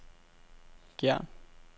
Gjern